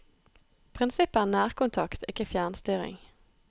Prinsippet er nærkontakt, ikke fjernstyring.